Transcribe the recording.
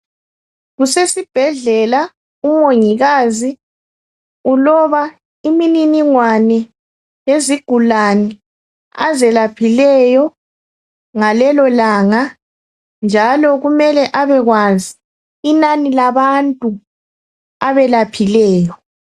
Kusesibhedlela, umongikazi uloba iminingingwane yezigulane azelaphileyo ngalelo langa, njalo kumele abekwazi inani labantu abelaphileyo.